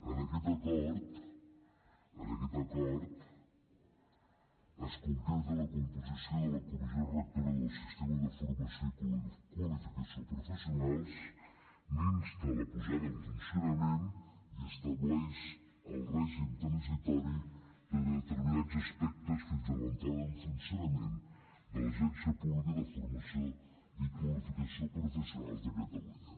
en aquest acord en aquest acord es concreta la composició de comissió rectora del sistema de formació i qualificació professionals n’insta la posada en funcionament i estableix el règim transitori de determinats aspectes fins a l’entrada en funcionament de l’agència pública de formació i qualificació professionals de catalunya